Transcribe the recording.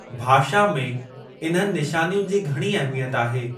भाषा में इन्हनि निशानियुनि जी घणी अहमियत आहे।